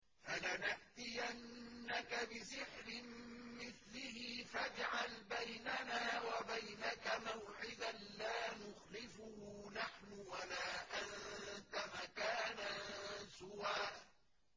فَلَنَأْتِيَنَّكَ بِسِحْرٍ مِّثْلِهِ فَاجْعَلْ بَيْنَنَا وَبَيْنَكَ مَوْعِدًا لَّا نُخْلِفُهُ نَحْنُ وَلَا أَنتَ مَكَانًا سُوًى